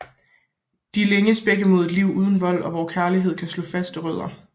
De længes begge mod et liv uden vold og hvor kærligheden kan slå faste rødder